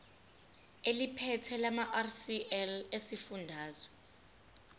eliphethe lamarcl esifundazwe